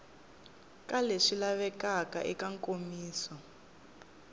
ka leswi lavekaka eka nkomiso